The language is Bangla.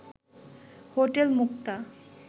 হোটেল মুক্তা